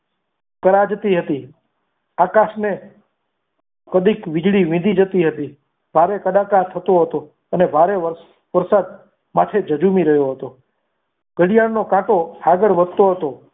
થરા જતી હતી આકાશને કદીક વીજળી વીતી જતી હતી તારે કદાચ આ થતું હતું અને ભારે વરસાદ માથે જજુમી રહ્યો હતો ઘડિયાળનું કાંટો આગળ વધતો હતો.